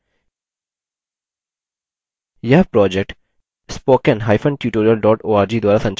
यह project